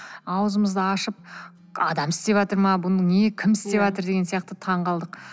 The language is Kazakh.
аузымызды ашып адам істеватыр ма бұны не кім істеватыр деген сияқты таң қалдық